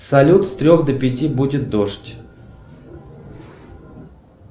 салют с трех до пяти будет дождь